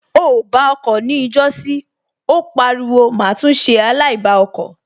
O ò bá ọkọ̀ ni ọjọ́sí Ó pariwo má tún ṣe aláìbá ọkọ̀